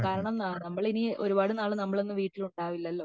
കാരണം നമ്മൾ ഇനി ഒരുപാട് നാൾ നമ്മളൊന്നും വീട്ടിൽ ഉണ്ടാവില്ലലോ